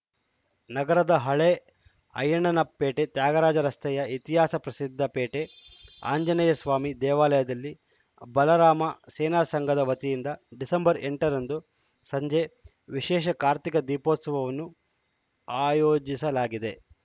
ನಗರದ ಹಳೆ ಐಯ್ಯಣ್ಣನ ಪೇಟೆ ತ್ಯಾಗರಾಜ ರಸ್ತೆಯ ಇತಿಹಾಸ ಪ್ರಸಿದ್ಧ ಪೇಟೆ ಆಂಜನೇಯಸ್ವಾಮಿ ದೇವಾಲಯದಲ್ಲಿ ಬಾಲರಾಮ ಸೇನಾಸಂಘದ ವತಿಯಿಂದ ಡಿಸೆಂಬರ್ ಎಂಟರಂದು ಸಂಜೆ ವಿಶೇಷ ಕಾರ್ತೀಕ ದೀಪೋತ್ಸವವನ್ನು ಆಯೋಜಿಸಲಾಗಿದೆ